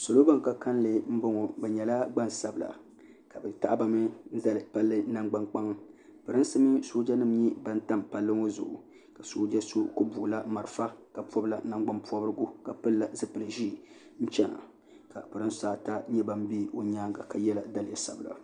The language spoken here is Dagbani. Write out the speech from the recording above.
salo ban ka kanli n ŋɔ bɛ nyɛla gba sabila ka be taɣiba mi pali nangba kpaŋa pɛrinsi mini sojanim tam pali ŋɔ zʋɣ' ka so ka soja so gbabila mariƒɔ polanagbanporigu ka pɛla zupɛli ʒiɛ n chɛna ka pɛrinsaata bɛ o nyɛŋa ka yɛ daliya sabila